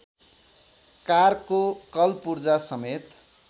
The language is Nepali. कारको कलपुर्जासमेत